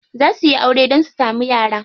Za suyi aure dan su samu yara.